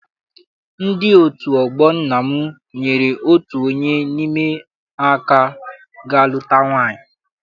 Ndị otu ọgbọ nna m nyere otu onye n'ime ha aka ga luta nwaanyị.